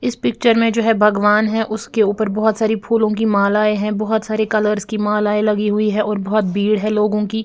इस पिक्चर में जो है भगवान है उसके ऊपर बहुत सारी फूलों की मालाएं हैं बहुत सारे कलर्स की मालाएं लगी हुई हैं और बहुत भीड़ है लोगों की।